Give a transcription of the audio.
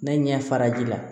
Ne ɲɛ fara ji la